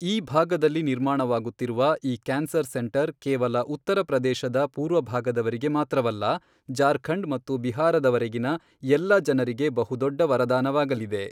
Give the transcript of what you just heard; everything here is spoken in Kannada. ಈ ಭಾಗದಲ್ಲಿ ನಿರ್ಮಾಣವಾಗುತ್ತಿರುವ ಈ ಕ್ಯಾನ್ಸರ್ ಸೆಂಟರ್ ಕೇವಲ ಉತ್ತರ ಪ್ರದೇಶದ ಪೂರ್ವ ಭಾಗದವರಿಗೆ ಮಾತ್ರವಲ್ಲ, ಜಾರ್ಖಂಡ್ ಮತ್ತು ಬಿಹಾರದವರೆಗಿನ, ಎಲ್ಲ ಜನರಿಗೆ ಬಹು ದೊಡ್ಡ ವರದಾನವಾಗಲಿದೆ.